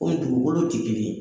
O ye dugukolo